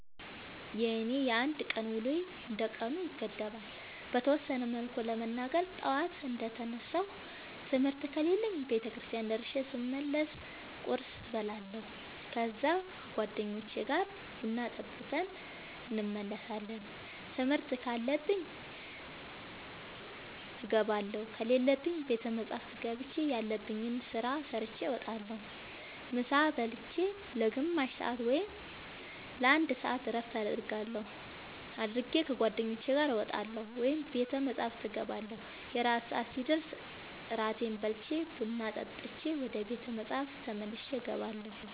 የኔ የአንድ ቀን ውሎዬ እንደ ቀኑ ይገደባል። በተወሰነ መልኩ ለመናገር ጠዋት እንደ ተነሳሁ ትምህርት ከሌለብኝ ቤተክርስቲያን ደርሼ ስመለስ ቁርስ እበላለሁ ከዛ ከ ጓደኞቼ ጋር ቡና ጠጥተን እንመለሳለን ትምህርት ካለብኝ እገባለሁ ከሌለብኝ ቤተ መፅሐፍ ገብቼ ያለብኝን ስራ ሰርቼ እወጣለሁ። ምሳ ብልቼ ለ ግማሽ ሰአት ወይም ለ አንድ ሰአት እረፍት አድርጌ ከ ጓደኞቼ ጋር እወጣለሁ ወይም ቤተ መፅሐፍ እገባለሁ። የእራት ሰአት ሲደርስ እራቴን በልቼ ቡና ጠጥቼ ወደ ቤተ መፅሐፍ ተመልሼ እገባለሁ።